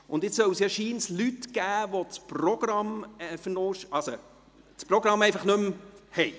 Es soll jetzt scheinbar Leute geben, die das Programm verlegt oder das Programm einfach nicht haben.